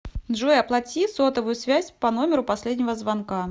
джой оплати сотовую связь по номеру последнего звонка